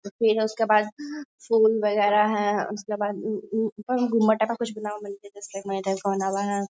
तो फिर उसके बाद फूल वगैरा हैं। उसके बाद उम्म मटर है।